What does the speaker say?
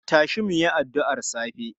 Tashi mu yi addu'ar safe!